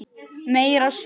Meira Suð!